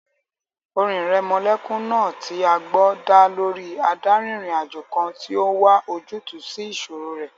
Orin ìrẹmọlẹ́kún náà tí a gbọ́ dá lórí adárin-ìrìnàjò kan tó n wá ojútùú sí ìṣòro rẹ̀